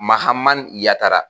MAHAMANI YATARA